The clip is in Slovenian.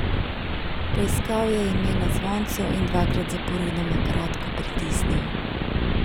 Poiskal je ime na zvoncu in dvakrat zaporedoma kratko pritisnil.